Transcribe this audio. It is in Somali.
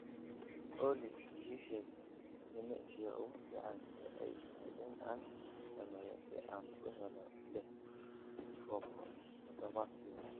olly ii sheeg jimicsiga ugu fiican ee ay tahay in aan sameeyo si aan u helo lix baako todobaadkii